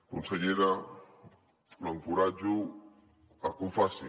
consellera l’encoratjo a que ho faci